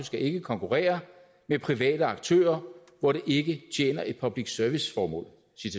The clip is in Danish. skal ikke konkurrere med private aktører hvor det ikke tjener et public service formål